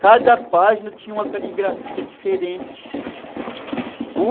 Cada página tinha uma caligrafia diferente.